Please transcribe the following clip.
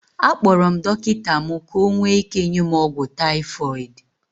Akpọrọ m dọkịta mụ ka ọ nwee ike nye m ọgwụ typhoid